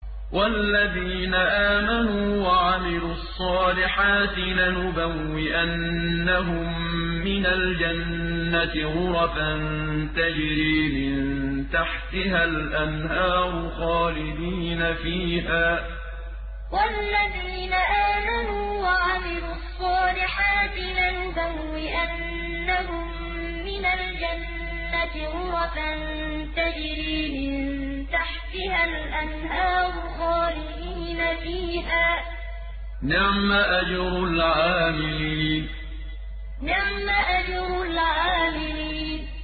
وَالَّذِينَ آمَنُوا وَعَمِلُوا الصَّالِحَاتِ لَنُبَوِّئَنَّهُم مِّنَ الْجَنَّةِ غُرَفًا تَجْرِي مِن تَحْتِهَا الْأَنْهَارُ خَالِدِينَ فِيهَا ۚ نِعْمَ أَجْرُ الْعَامِلِينَ وَالَّذِينَ آمَنُوا وَعَمِلُوا الصَّالِحَاتِ لَنُبَوِّئَنَّهُم مِّنَ الْجَنَّةِ غُرَفًا تَجْرِي مِن تَحْتِهَا الْأَنْهَارُ خَالِدِينَ فِيهَا ۚ نِعْمَ أَجْرُ الْعَامِلِينَ